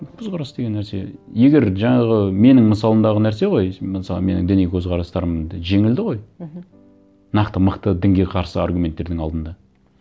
көзқарас деген нәрсе егер жаңағы менің мысалымдағы нәрсе ғой мысалы менің діни көзқарастарым да жеңілді ғой мхм нақты мықты дінге қарсы аргуменнтердің алдында